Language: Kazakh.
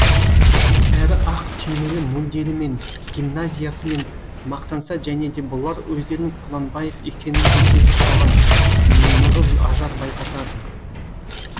әрі ақ түймелі мундирімен гимназиясымен мақтанса және де бұлар өздерінің құнанбаев екенін де сезіп қалған нығыз ажар байқатады